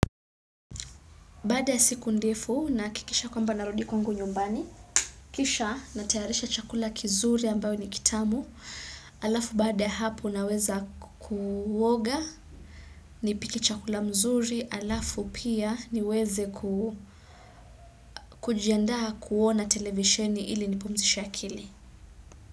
Baada ya siku ndefu na hakikisha kwamba narundi kwangu nyumbani, kisha natayarisha chakula kizuri ambayo ni kitamu, halafu baada ya hapo naweza kuoga, nipike chakula mzuri, halafu pia niweze kujiandaa kuona televisheni ili nipumzishe akili.